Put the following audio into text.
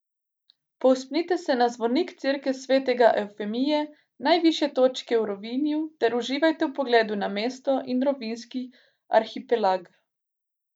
Povzpnite se na zvonik cerkve svetega Evfemije, najvišje točke v Rovinju, ter uživajte v pogledu na mesto in rovinjski arhipelag.